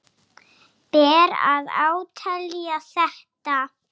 Ber að átelja þetta.